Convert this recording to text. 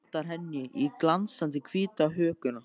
Potar henni í glansandi hvíta hökuna.